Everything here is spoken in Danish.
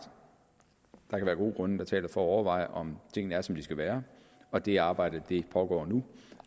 kan der være gode grunde til at overveje om tingene er som de skal være og det arbejde pågår nu